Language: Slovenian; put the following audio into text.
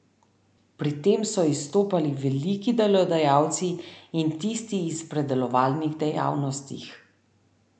Pri tem so izstopali veliki delodajalci in tisti iz predelovalnih dejavnostih.